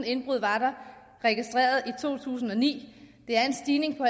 indbrud var der registreret i to tusind og ni det er en stigning på